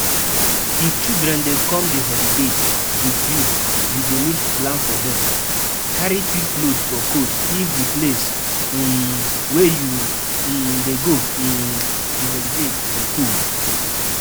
Carry thick cloth for cold if di place um wey you um dey go um di holiday dey cold